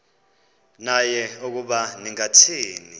naye ukuba ningathini